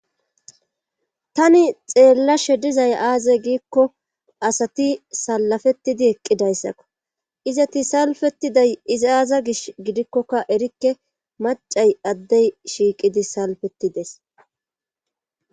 tani xeellashe dizay aaza giikko asati salafettidi eqqidayssakko izati salfetiday iza aaza gish gidikkokka erikke macay addey shiiqidi salfettides